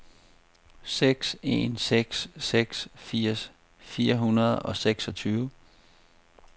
seks en seks seks firs fire hundrede og seksogtyve